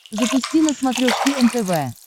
запусти на смотрешке нтв